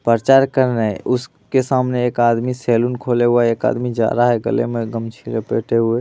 परचार कर रहे उसके सामने एक आदमी एक सैलून खोले हुआ है एक आदमी जा रहा है गले में गमछी लपेटे हुए ।